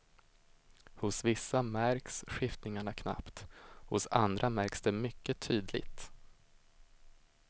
Hos vissa märks skiftningarna knappt, hos andra märks det mycket tydligt.